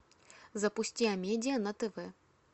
запусти амедиа на тв